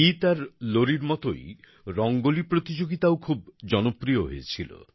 গীত আর লোরির মতোই রঙ্গোলি প্রতিযোগিতাও খুব জনপ্রিয় হয়েছিল